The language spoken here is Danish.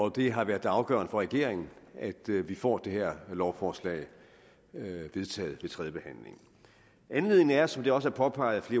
og det har været afgørende for regeringen at vi vi får det her lovforslag vedtaget ved tredjebehandlingen anledningen er jo som det også er påpeget af